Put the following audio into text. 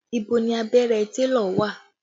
Ibo ni abẹ́rẹ́ télọ̀ wà?